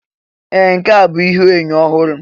Ee! Nke ahụ bụ ihuenyo ọhụrụ.